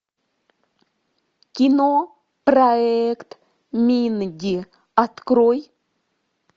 кино проект минди открой